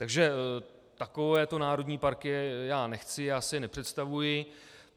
Takže takovéto národní parky já nechci, takto si je nepředstavuji.